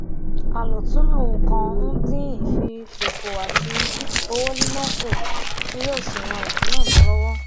alotunlo nnkan n din ifisofo ati owo nina ku ti yoo si ran isuna mi lowo